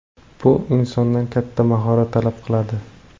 Bu insondan katta mahorat talab qiladi.